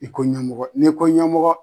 I ko ɲɛmɔgɔ n'i ko ɲɛmɔgɔ